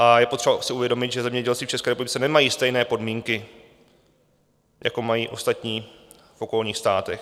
A je potřeba si uvědomit, že zemědělci v České republice nemají stejné podmínky, jako mají ostatní v okolních státech.